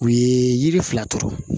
U ye yiri fila turu